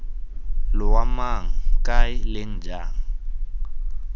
loa mang kae leng jang